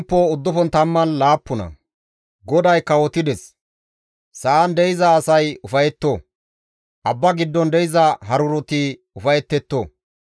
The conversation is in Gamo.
GODAY kawotides; sa7an de7iza asay ufayetto; abba giddon de7iza haruroti ufayetetto.